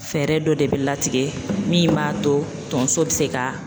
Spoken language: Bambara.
Fɛɛrɛ dɔ de bi latigɛ min b'a to tonso bi se ka